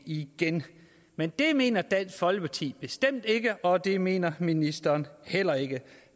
igen men det mener dansk folkeparti bestemt ikke og det mener ministeren heller ikke